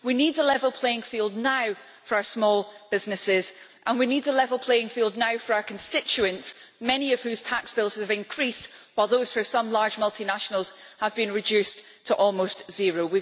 We need a level playing field now for our small businesses, and we need a level playing field now for our constituents, many of whose tax bills have increased, while those for some large multinationals have been reduced to almost zero.